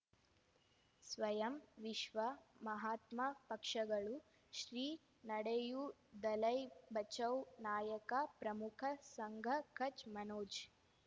ಸ್ವಯಂ ವಿಶ್ವ ಮಹಾತ್ಮ ಪಕ್ಷಗಳು ಶ್ರೀ ನಡೆಯೂ ದಲೈ ಬಚೌ ನಾಯಕ ಪ್ರಮುಖ ಸಂಘ ಕಚ್ ಮನೋಜ್